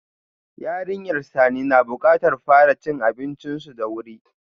Yarinyar Sani na bukatar fara cin abincinsu da wuri.